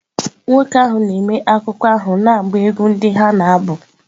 Nwoke ahụ na-eme akụkọ ahụ na-agba egwú ndị ha na-abụ.